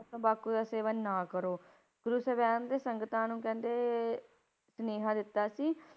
ਤੰਬਾਕੂ ਦਾ ਸੇਵਨ ਨਾ ਕਰੋ, ਗੁਰੂ ਸਾਹਿਬਾਨ ਦੇ ਸੰਗਤਾਂ ਨੂੰ ਕਹਿੰਦੇ ਸੁਨੇਹਾ ਦਿੱਤਾ ਸੀ,